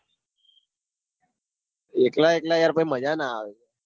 એકલા એકલા યાર પાસ માજા ના આવ